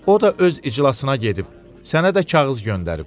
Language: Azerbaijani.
O da öz iclasına gedib, sənə də kağız göndərib.